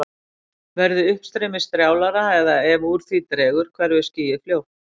Verði uppstreymið strjálara eða ef úr því dregur hverfur skýið fljótt.